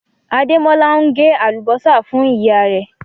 Àdémọ́lá ǹ gé alúbọ̀sà fún iyà rẹ̀